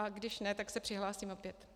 A když ne, tak se přihlásím opět.